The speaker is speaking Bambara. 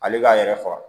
Ale b'a yɛrɛ faga